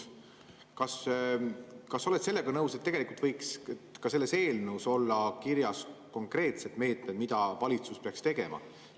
Kas sa oled sellega nõus, et tegelikult võiks ka selles eelnõus olla kirjas konkreetsed meetmed, mida valitsus peaks tegema?